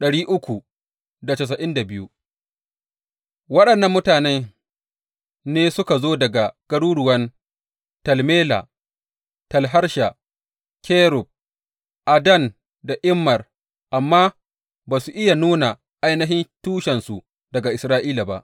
Waɗannan mutanen ne suka zo daga garuruwan Tel Mela, Tel Harsha, Kerub, Addan da Immer, amma ba su iya nuna ainihin tushensu daga Isra’ila ba.